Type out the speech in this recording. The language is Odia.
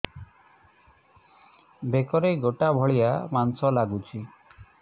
ବେକରେ ଗେଟା ଭଳିଆ ମାଂସ ଲାଗୁଚି